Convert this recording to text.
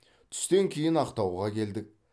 түстен кейін ақтауға келдік